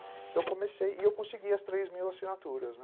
Então eu comecei e eu consegui as três mil assinaturas, né.